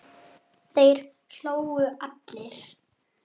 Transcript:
Þeir hlógu allir.